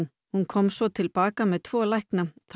hún kom svo til baka með tvo lækna þá